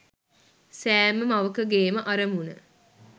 සෑම මවකගේ ම අරමුණ